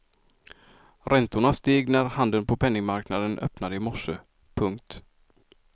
Räntorna steg när handeln på penningmarknaden öppnade i morse. punkt